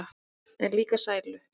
En líka sælu.